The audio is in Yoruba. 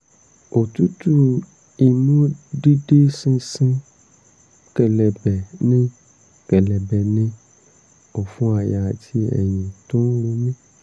òtútù imú dídí sínsín kẹ̀lẹ̀bẹ̀ ní kẹ̀lẹ̀bẹ̀ ní ọ̀fun àyà àti ẹ̀yìn tó ń ro mí